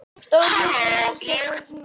Stór hluti öryrkja við fátæktarmörk